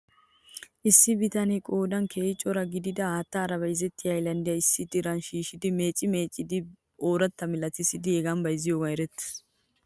Issi bitanee qoodan keehi cora gidida haattara bayzettiyaa haylanddiyaa issi diran shiishidi meecci meeccidi ooratta malatissidi hegaa bayzziyoogan erettes .